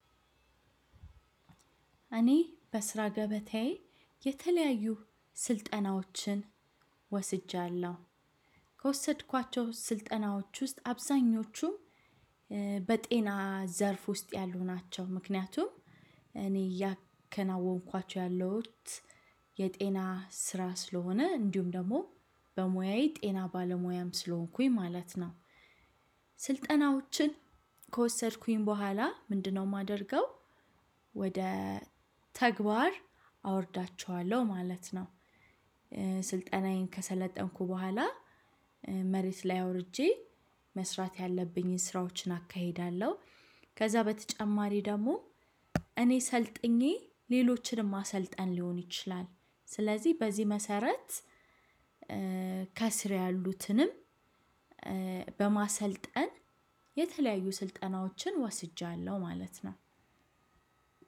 እኔ በስራ ገበታዬ የተለያዩ ስልጠናዎችን ወስጃለሁ። ከወሰድኳቸው ስልጠናዎች ውስጥ አብዛኞቹ በጤና ዘርፍ ውስጥ ያሉ ናቸው ምክንያቱም እኔ እያከናወንኳቸው ያለሁት የጤና ስራ ስለሆነ እንዲሁም ደግሞ በሙያዬ ጤና ባለሙያም ስለሆንኩኝ ማለት ነው። ስልጠናዎችን ከወሰድኩኝ በኋላ ምንድነው የማደርገው ወደ ተግባር አወርዳቸዋለሁ ማለት ነው። ስልጠናዬን ከሰለጠንኩ በኋላ መሬት ላይ አውርጄ መስራት ያለብኝን ስራዎችን አካሂዳለሁ። ከዛ በተጨማሪ ደግሞ እኔ ሰልጥኜ ሌሎችንም ማሰልጠን ሊሆን ይችላል። ስለዚህ በዚህ መሰረት ከስር ያሉትንም በማሰልጠን የተለያዩ ስልጠናዎችን ወስጃለሁ ማለት ነው።